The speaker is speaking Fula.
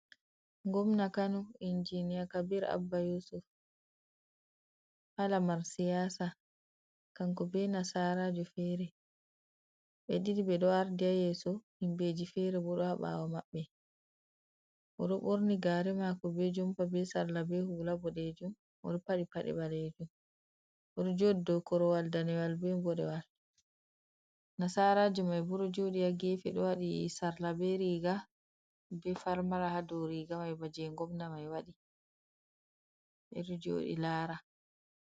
Ngomna kano, injiniya Kabir Abba yusuf ha lamar siyasa, kanko be nasarajo fere ɓe ɗiɗi ɓeɗo ardi ha yeso, himɓeji fere bo ɗo ha ɓawo maɓɓe, oɗo ɓorni gare mako, be jompa, be sarla, be hula boɗejum, oɗo paɗi paɗe ɓalejum, oɗo joɗi dow korowal danewal, be boɗe wal. Nasarao mai bo ɗo jodi ha gefe ɗo waɗi sarla, be riga, be farmara hadow riga mai, baje gomnaa mai waɗ ɓeɗo joɗi lara.